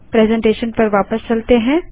presentation पर वापस चलते हैं